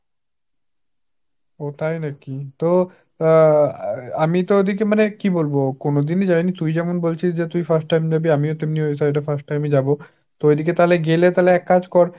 ওঃ তাই নাকি। তো আ~ আমি তো ঐদিকে মানে কি বলবো কোনদিনই যাইনি তুই যেমন বলছিস যে তুই first time যাবি আমিও তেমনি ওই side এ first time ই যাব।